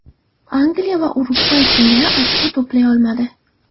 Angliya esa Urugvay singari ochko to‘play olmadi.